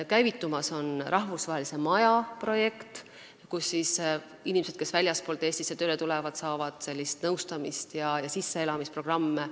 Käivitumas on rahvusvahelise maja projekt, kus inimesed, kes väljastpoolt Eestisse tööle tulevad, saavad nõustamist ja nende jaoks on sisseelamisprogrammid.